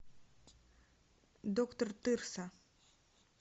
доктор тырса